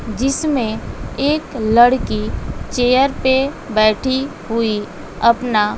जिसमें एक लड़की चेयर पे बैठी हुई अपना--